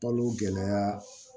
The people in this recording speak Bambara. Balo gɛlɛya